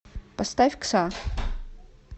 поставь кса